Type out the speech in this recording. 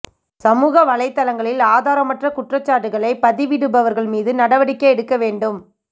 சமூக வலைதளங்களில் ஆதாரமற்ற குற்றச்சாட்டுகளை பதிவிடுபவர்கள் மீது நடவடிக்கை எடுக்க வேண்டும்